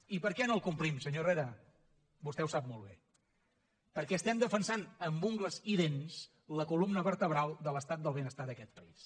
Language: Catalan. i per què no el complim senyor herrera vostè ho sap molt bé perquè estem defensant amb ungles i dents la columna vertebral de l’estat del benestar d’aquest país